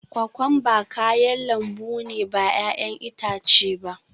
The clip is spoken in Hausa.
Kokwamba kayan lambu ne ba 'ya'yan itace ba